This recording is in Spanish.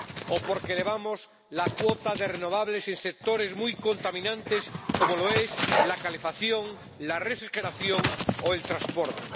o porque elevamos la cuota de renovables en sectores muy contaminantes, como la calefacción, la refrigeración o el transporte.